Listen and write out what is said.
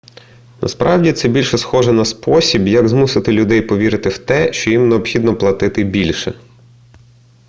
насправді це більше схоже на спосіб як змусити людей повірити в те що їм необхідно платити більше